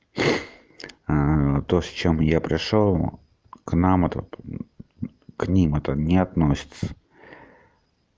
то с чем я пришёл к нам этот к ним это не относится